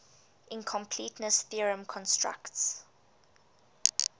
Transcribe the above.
incompleteness theorem constructs